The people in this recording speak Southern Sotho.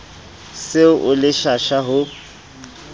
se o le pshasha ho